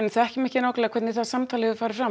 þekkjum ekki nákvæmlega hvernig það samtal hefur farið fram